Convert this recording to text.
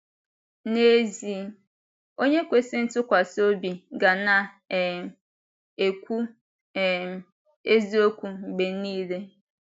N’ezie, onye kwesịrị ịtụkwasị obi ga na um - ekwu um eziokwu mgbe nile.